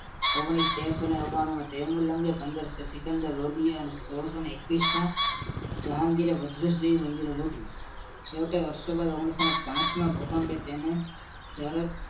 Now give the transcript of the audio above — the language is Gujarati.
ઓગણી તેરસો નવણું મી તેલુંગએ પંદર સિકંદર અને સોળ સૉ એક વીસમાં જહાંગીરે વજર્સ જેવી મદિરી લૂટી છેવટે વર્ષોબાદ ઓગણીસો પાંચ માં ભૂકંપે તેને ચર